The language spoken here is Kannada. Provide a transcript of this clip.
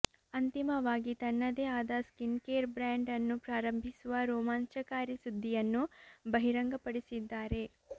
ಅಂತಿಮವಾಗಿ ತನ್ನದೇ ಆದ ಸ್ಕಿನ್ ಕೇರ್ ಬ್ರಾಂಡ್ ಅನ್ನು ಪ್ರಾರಂಭಿಸುವ ರೋಮಾಂಚಕಾರಿ ಸುದ್ದಿಯನ್ನು ಬಹಿರಂಗಪಡಿಸಿದ್ದಾರೆ